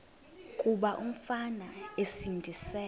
kuba umfana esindise